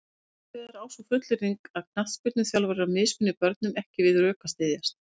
Hins vegar á sú fullyrðing að knattspyrnuþjálfarar mismuni börnum ekki við rök að styðjast.